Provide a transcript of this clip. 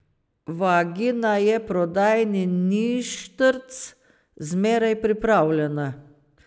Vagina je prodajni ništrc, zmeraj pripravljena.